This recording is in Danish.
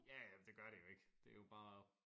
Ja ja men det gør det jo ikke det jo bare